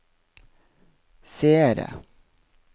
seere